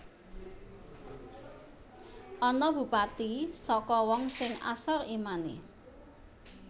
Ana Bupati saka wong sing asor imane